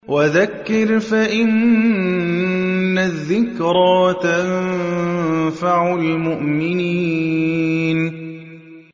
وَذَكِّرْ فَإِنَّ الذِّكْرَىٰ تَنفَعُ الْمُؤْمِنِينَ